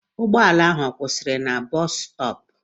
Ụgbọala ahụ ọ kwụsịrị na bọs stọọpụ?